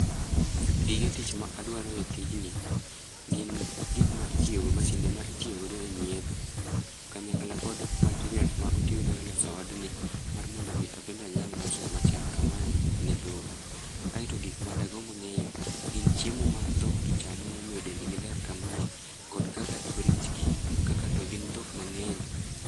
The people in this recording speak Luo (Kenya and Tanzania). Gige tich ma adwaro e tijni gin gikma itiyo go, masinde ma itiyo go e nyiedho kanyakla kod materials ma otigo e loso odni mar mondo mi abende anyal loso ot machal kamae ne dhok. Aito gikma dagomb ngeyo gin chiemo ma dhok gi chamo momiyo dendgi ler kamae kod kaka oritgi kaka togin dhok mangeny